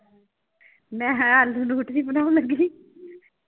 ਮੈਂ ਹੈਂ ਆਲੂ nutri ਬਣਾਉਣ ਲੱਗੀ ਸੀ।